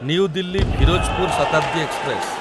new Delhi Firozpur Shatabdi express